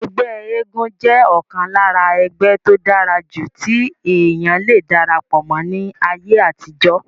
ẹgbẹ́ eégún jẹ́ ọ̀kan lára ẹgbẹ́ tó dára jù tí èèyàn le darapọ̀ mọ́ ní ayé àtijọ́